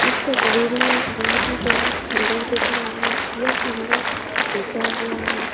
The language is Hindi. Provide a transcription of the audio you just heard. इस तस्वीर में एक बोहोत ही बड़ा खंडहर दिख रहा है। यह खंडहर टूटा हुआ है।